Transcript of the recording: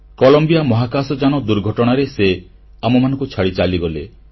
Colombia ମହାକାଶଯାନ ଦୁର୍ଘଟଣାରେ ସେ ଆମ୍ଭମାନଙ୍କୁ ଛାଡ଼ି ଚାଲିଗଲେ